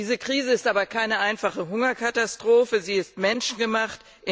Diese Krise ist aber keine einfache Hungerkatastrophe, sie ist menschgemacht.